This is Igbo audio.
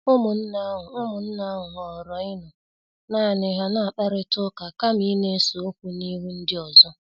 Ụmụnne ahụ Ụmụnne ahụ họọrọ ịnọ naani ha na-akparita ụka kama ịna-ese okwu n'ihu ndi ọzọ.